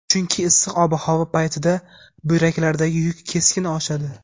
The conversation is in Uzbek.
Chunki issiq ob-havo paytida buyraklardagi yuk keskin oshadi.